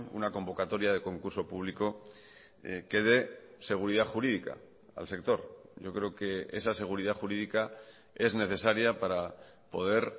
una convocatoria de concurso público que dé seguridad jurídica al sector yo creo que esa seguridad jurídica es necesaria para poder